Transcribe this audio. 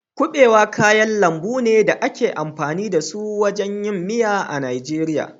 Kuɓewa kayan lambu ne da ake amfani da su wajen yin miya a Najeriya.